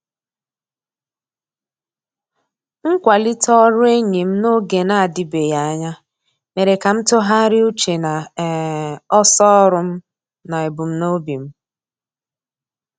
Mkwalite ọrụ enyi m n'oge na-adịbeghị anya, mere ka m tụgharịa uche na um ọsọ ọrụ m na ebumnobi m.